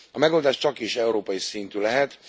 A megoldás csakis európai szintű lehet.